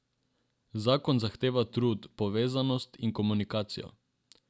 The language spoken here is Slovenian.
Zakon zahteva trud, povezanost in komunikacijo.